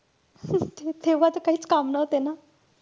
तेव्हा त काईचं काम नव्हते ना.